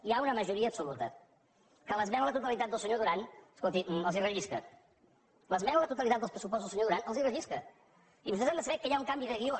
hi ha una majoria absoluta que l’esmena a la totalitat del senyor duran escolti els rellisca l’esmena a la totalitat dels pressupostos del senyor duran els rellisca i vostès han de saber que hi ha un canvi de guió